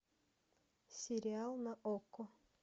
сериал на окко